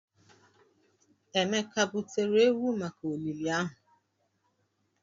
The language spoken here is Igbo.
Emeka butere ewu maka olili ahụ?